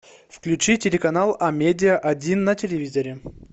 включи телеканал амедиа один на телевизоре